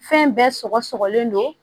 Fɛn bɛɛ sɔgɔ sɔgɔlen don